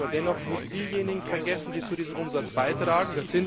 Wir dürfen aber dennoch nicht diejenigen vergessen, die zu diesem Umsatz beitragen.